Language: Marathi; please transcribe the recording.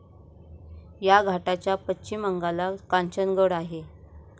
या घाटाच्या पश्चिम अंगाला कांचनगड आहे.